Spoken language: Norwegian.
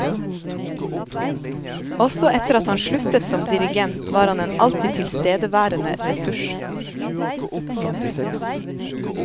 Også etter at han sluttet som dirigent var han en alltid tilstedeværende ressurs.